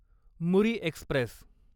Muri Express